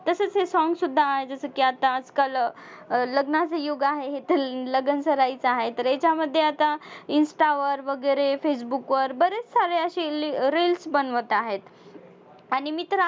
तसंच हे song सुद्धा आहे जसं की आता आजकाल अं लग्नाचं युग आहे हे तर लगनसराईच आहे तर हेच्यामध्ये आता insta वर वगैरे facebook वर बरेच सारे अशी reels बनवत आहेत. आणि मी तर